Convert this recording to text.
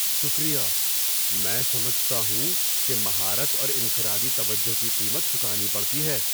شکریہ! میں سمجھتا ہوں کہ مہارت اور انفرادی توجہ کی قیمت چکانی پڑتی ہے۔